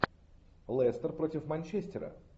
лестер против манчестера